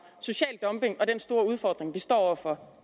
social dumping og den store udfordring vi står over for